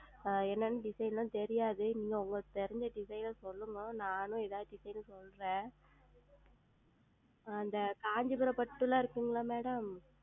ஆஹ் என்ன என்ன Design ல்லாம் தெரியாது நீங்கள் உங்களுக்கு தெரிந்த Design சொல்லுங்கள் நானும் எதாவது Design சொல்றேன் ஆஹ் இந்த Kancheepuram பட்டுல்லாம் இருக்குல்லா Madam